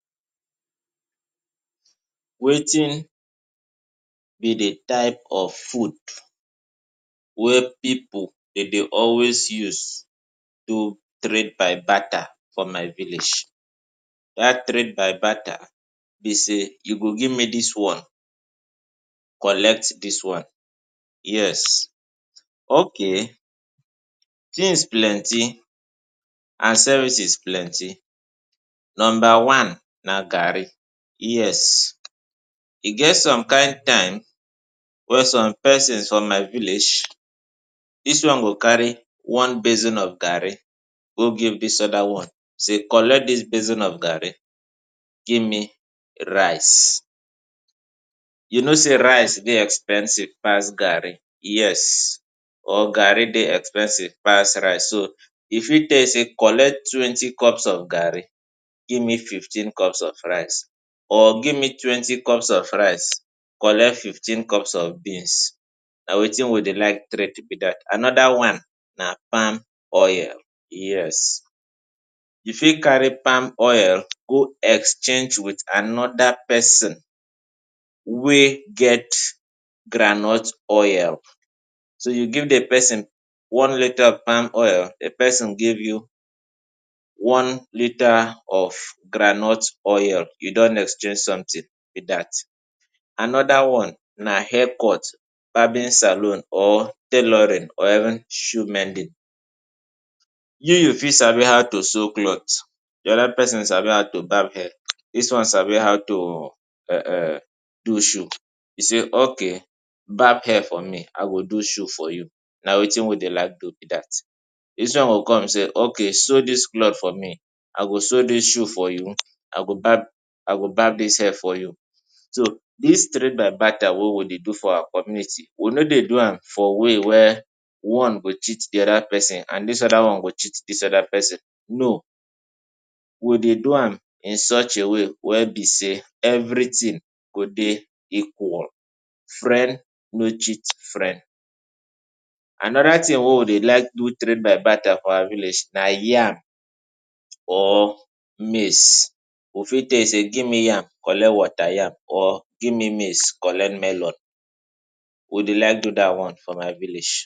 Wetin be di type of food wey pipu de dey always use do trade-by-barter for my village? Dat trade-by-barter be sey: you go give me dis one, collect dis one. Yes, ok. Tins plenti and services plenti. Nomba one na gari. Yes, e get some kind time wey some pesins from my village, dis one go carry one basin of gari go give dis oda one sey: ‘’Collect dis basin of gari, give me rice.’’ You know sey rice dey expensive pass gari, yes, or gari dey expensive pass rice. So, e fit tell you sey: ‘’Collect twenty cups of gari, give me fifteen cups of rice.’’ Or, ‘’Give me twenty cups of rice, collect fifteen cups of beans.’’ Na wetin we dey like trade be dat. Another one na palm oil. Yes, you fit carry palm oil go exchange wit another pesin wey get groundnut oil. So you give di pesin one litre of palm oil, di pesin give you one litre of groundnut oil – you don exchange something be dat. Another one na haircut – barbing saloon, or tailoring, or shoemending. You, you fit sabi how to sew cloth, di other pesin sabi how to barb hair, dis one sabi how to um um do shoe, you sey: ‘’OK, barb hair for me, I go do shoe for you.’’ Na wetin we dey like do be dat. Dis one go come sey: ‘’Ok, sew dis cloth for me, I go sew dis shoe for you. I go barb, I go barb dis hair for you.’’ So, dis trade-by-barter wey we dey do for our community, we no dey do am for way wey one go cheat di other pesin and this other one go cheat dis other pesin. No, we dey do am in such a way wey be sey everything go dey equal – friend no cheat friend. Another tin wey we dey like do trade-by-barter for our village na yam or maize. We fit tell you sey: ‘’Give me yam, collect water yam, or give me maize, collect melon.’’ We dey like do dat one for my village.